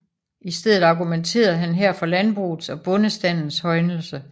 I stedet argumenterede han her for landbrugets og bondestandens højnelse